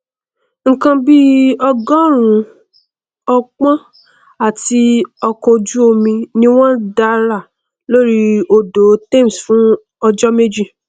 nnkan bí ọgọrùnún ọpọn àti ọkọojúomi ni wọn dárà lórí odò thames fún ọjọ méjì